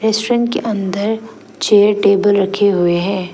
Restaurant के अंदर chair table रखें हुए हैं।